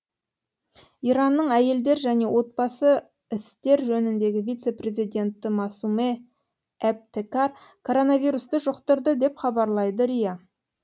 иранның әйелдер және отбасы істер жөніндегі вице президенті масуме эбтекар коронавирусты жұқтырды деп хабарлайды риа